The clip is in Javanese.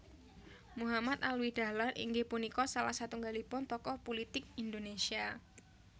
Muhammad Alwi Dahlan inggih punika salah satunggalipun tokoh pulitik Indonésia